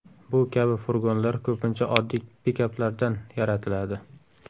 Bu kabi furgonlar ko‘pincha oddiy pikaplardan yaratiladi.